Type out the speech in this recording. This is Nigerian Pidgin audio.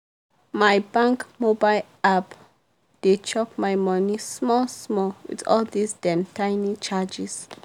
my bank mobile app dey chop my money small-small with all dis dem tiny charges.